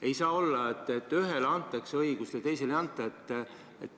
Ei saa olla nii, et ühele antakse õigus ja teisele ei anta.